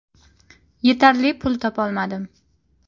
Yetarli pul topolmadim.